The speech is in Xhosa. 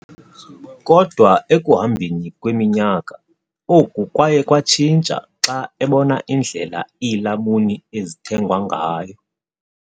Kodwa ekuhambeni kweminyaka, oku kwaye kwatshintsha xa ebona indlela iilamuni ezithengwa ngayo.